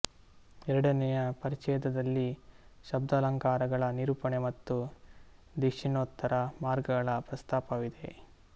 ಎರಡನೆಯ ಪರಿಚ್ಛೇದದಲ್ಲಿ ಶಬ್ದಾಲಂಕಾರಗಳ ನಿರೂಪಣೆ ಮತ್ತು ದಕ್ಷಿಣೋತ್ತರ ಮಾರ್ಗಗಳ ಪ್ರಸ್ತಾಪವಿದೆ